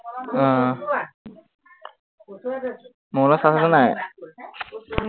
আহ mobile ৰ charge আছে নাই